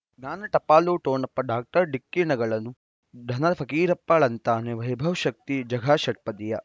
ಜ್ಞಾನ ಟಪಾಲು ಠೊಣಪ ಡಾಕ್ಟರ್ ಢಿಕ್ಕಿ ಣಗಳನು ಧನ ಫಕೀರಪ್ಪ ಳಂತಾನೆ ವೈಭವ್ ಶಕ್ತಿ ಝಗಾ ಷಟ್ಪದಿಯ